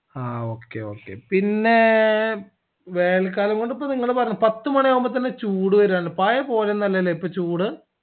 ആ okay okay പിന്നേ വേനൽ കാലംകൊണ്ട് നിങ്ങൾ പറഞ്ഞത് പോലെ പത്ത് മണിയാവുമ്പൊ തന്നെ ചൂട് വരു ആണ് പായെപോലെയൊന്നുല്ലാല്ലേ ഇപ്പൊ ചൂട്